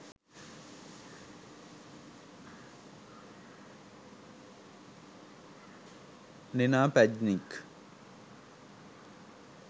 nina pajnič